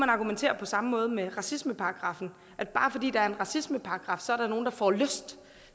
argumentere på samme måde med racismeparagraffen at bare fordi der er en racismeparagraf så der er nogle der får lyst